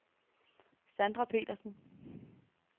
Sandra Petersen